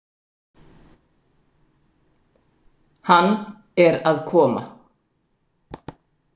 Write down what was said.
Hann er að koma.